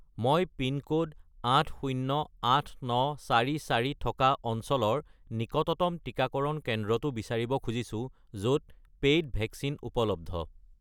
মই পিনক'ড 808944 থকা অঞ্চলৰ নিকটতম টিকাকৰণ কেন্দ্ৰটো বিচাৰিব খুজিছো য'ত পেইড ভেকচিন উপলব্ধ